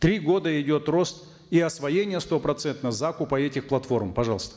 три года идет рост и освоение стопроцентное закупа этих платформ пожалуйста